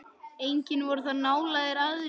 Engir voru þar nálægir aðrir.